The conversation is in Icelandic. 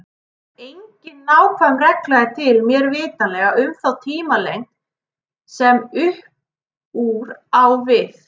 Engin nákvæm regla er til, mér vitanlega, um þá tímalengd sem upp úr á við.